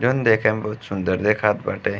जोन देखे में बहुत सुन्दर देखात बाटे।